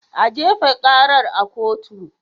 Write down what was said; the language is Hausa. A jefa karar a kotu!